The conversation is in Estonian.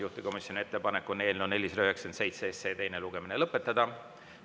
Juhtivkomisjoni ettepanek on eelnõu 497 teine lugemine lõpetada.